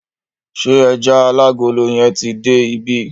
Ṣé ẹjà alágolo yẹn ti dé ibí?